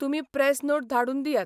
तुमी press note धाडून दियात.